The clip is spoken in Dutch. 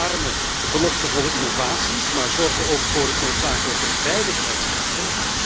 We omarmen beloftevolle innovaties, maar zorgen ook voor het noodzakelijke veiligheidskader.